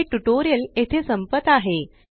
हे ट्यूटोरियल येथे संपत आहे